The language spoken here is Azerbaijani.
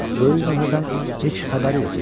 Böyük möhrdən heç xəbəri yox idi.